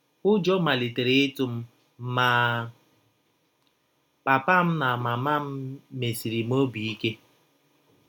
Ụjọ malitere ịtụ m, ma, papa m na mama m mesiri m ọbi ike.